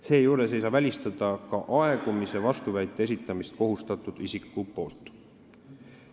Seejuures ei saa välistada ka aegumise vastuväite esitamist kohustatud isiku poolt.